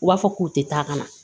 U b'a fɔ k'u tɛ taa ka na